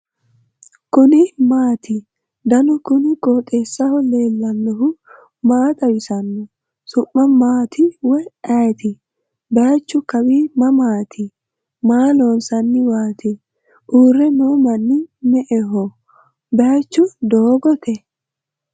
kuni maati ? danu kuni qooxeessaho leellannohu maa xawisanno su'mu maati woy ayeti ? baychu kawi mamaati maa loonsanniwaati uure noo manni me'eho baychiu doogote ?